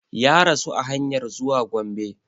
Ya rasu a hanyar zuwa Gombe